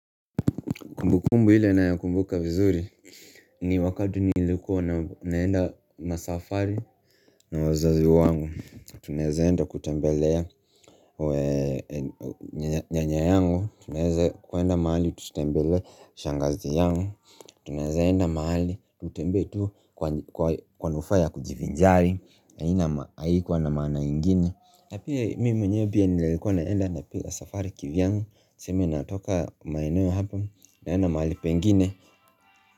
Kumbukumbu ile ninayo kumbuka vizuri ni wakati nilikuwa naenda safari na wazazi wangu. Tunaezaenda kutembelea nyanyayangu. Tunaweza kwenda mahali tutembelea shangazi yangu. Tunaezaenda mahali tutembee tu kwa manufaa ya kujivinjari haikuwa na mana ingine. Napia mimi mwenye pia nilikuwa naenda safari kivyangu sema natoka maineo hapa naenda mahali pengine.